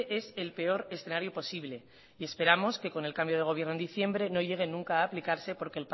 es el peor escenario posible y esperamos que con el cambio de gobierno en diciembre no llegue nunca a aplicarse porque